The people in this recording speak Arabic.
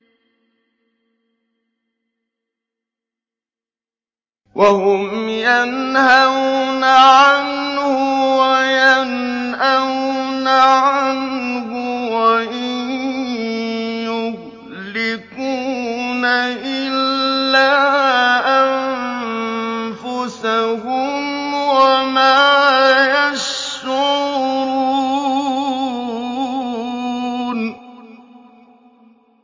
وَهُمْ يَنْهَوْنَ عَنْهُ وَيَنْأَوْنَ عَنْهُ ۖ وَإِن يُهْلِكُونَ إِلَّا أَنفُسَهُمْ وَمَا يَشْعُرُونَ